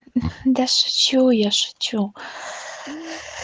да шучу я шучу